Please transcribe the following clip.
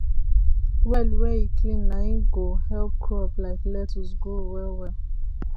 well wey e clean nai go help crop like lettuce grow well well